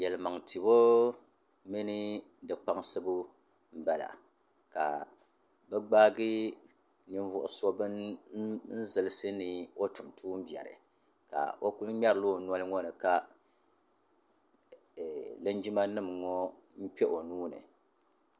Yaliman tibɔ mini di kpaŋsibu bala. ka bi gbaagi nin vuɣu so bini zilisi ni ɔtum tuun' bɛri ka ɔ kuli mŋerila ɔ nɔlini ka linjima nim ŋɔ kpehihɛ nuuni